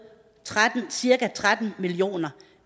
cirka tretten million